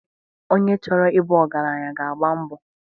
Onye chọrọ ị bụ ọgaranya ga-agba mbọ..